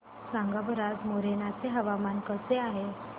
सांगा बरं आज मोरेना चे हवामान कसे आहे